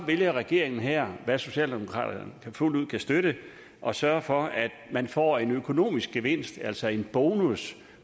vælger regeringen her hvad socialdemokraterne fuldt ud kan støtte at sørge for at man får en økonomisk gevinst altså en bonus